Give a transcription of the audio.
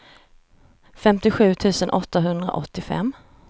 femtiosju tusen åttahundraåttiofem